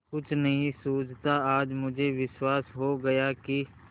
कुछ नहीं सूझता आज मुझे विश्वास हो गया कि